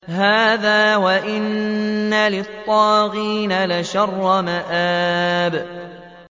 هَٰذَا ۚ وَإِنَّ لِلطَّاغِينَ لَشَرَّ مَآبٍ